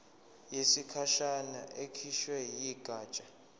yesikhashana ekhishwe yigatsha